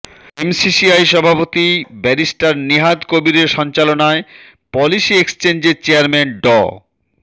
MCCI সভাপতি barrister Nihad কবিরের সঞ্চালনায় পলিসি এক্সচেঞ্জের চেয়ারম্যান ড